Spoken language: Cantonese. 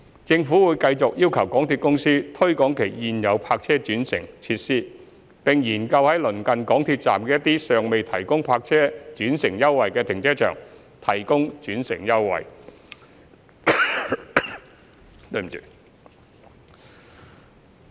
政府會繼續要求港鐵公司推廣其現有泊車轉乘設施，並研究在鄰近港鐵站的一些尚未提供泊車轉乘優惠的停車場提供轉乘優惠。